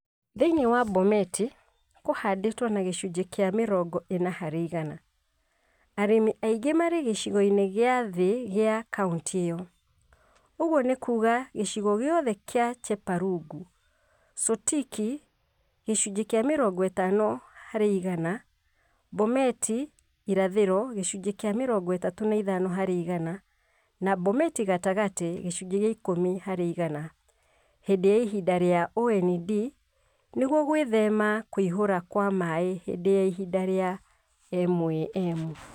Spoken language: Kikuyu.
Thĩinĩ wa Bomet, kũhandĩtwo na gĩcunjĩ kĩa mĩrongo ĩna harĩ igana. Arĩmi aingĩ marĩ gĩcigo-inĩ gĩa thĩ gĩa Kauntĩ ĩyo. Ũguo nĩ kuuga gĩcigo gĩothe kĩa Chepalungu, Sotik 50%, Bomet irathĩro 35% na Bomet gatagatĩ 10% hĩndĩ ya ihinda rĩa OND nĩguo gwĩthema kũihũra kwa maĩ hĩndĩ ya ihinda rĩa MAM.